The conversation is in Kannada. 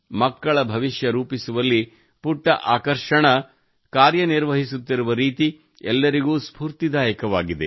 ಮಕ್ಕಳ ಭವಿಷ್ಯ ರೂಪಿಸುವಲ್ಲಿ ಪುಟ್ಟ ಆಕರ್ಷಣಾ ಕಾರ್ಯ ನಿರ್ವಹಿಸುತ್ತಿರುವ ರೀತಿ ಎಲ್ಲರಿಗೂ ಸ್ಪೂರ್ತಿದಾಯಕವಾಗಿದೆ